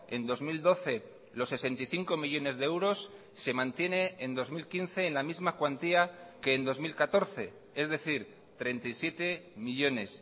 en dos mil doce los sesenta y cinco millónes de euros se mantiene en dos mil quince en la misma cuantía que en dos mil catorce es decir treinta y siete millónes